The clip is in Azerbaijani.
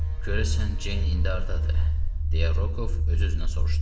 Görəsən Ceyn indi hardadır, deyə Rokov öz-özünə soruşdu.